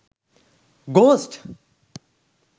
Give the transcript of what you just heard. ghost